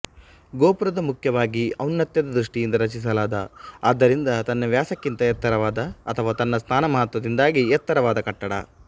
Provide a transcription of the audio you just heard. ಗೋಪುರವು ಮುಖ್ಯವಾಗಿ ಔನ್ನತ್ಯದ ದೃಷ್ಟಿಯಿಂದ ರಚಿಸಲಾದ ಆದ್ದರಿಂದ ತನ್ನ ವ್ಯಾಸಕ್ಕಿಂತ ಎತ್ತರವಾದ ಅಥವಾ ತನ್ನ ಸ್ಥಾನಮಹತ್ತ್ವದಿಂದಾಗಿ ಎತ್ತರವಾದ ಕಟ್ಟಡ